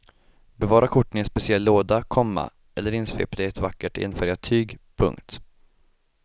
Bevara korten i en speciell låda, komma eller insvepta i ett vackert enfärgat tyg. punkt